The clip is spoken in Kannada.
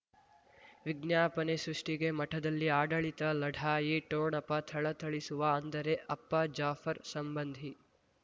ವಿಜ್ಞಾಪನೆ ಸೃಷ್ಟಿಗೆ ಮಠದಲ್ಲಿ ಆಡಳಿತ ಲಢಾಯಿ ಠೋಣಪ ಥಳಥಳಿಸುವ ಅಂದರೆ ಅಪ್ಪ ಜಾಫರ್ ಸಂಬಂಧಿ